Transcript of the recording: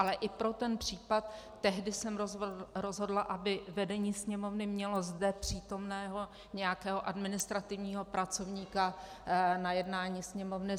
Ale i pro ten případ tehdy jsem rozhodla, aby vedení Sněmovny mělo zde přítomného nějakého administrativního pracovníka na jednání Sněmovny.